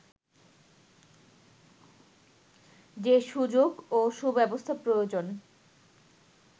যে সুযোগ ও সুব্যবস্থা প্রয়োজন